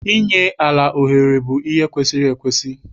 Inye ala ohere bụ ihe kwesiri ekwesi.